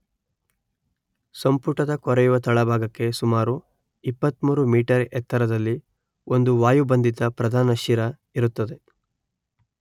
ಸಂಪುಟದ ಕೊರೆಯುವ ತಳಭಾಗಕ್ಕೆ ಸುಮಾರು ಇಪ್ಪತ್ತಮೂರು ಮೀಟರ್ ಎತ್ತರದಲ್ಲಿ ಒಂದು ವಾಯುಬಂಧಿತ ಪ್ರಧಾನ ಶಿರ ಇರುತ್ತದೆ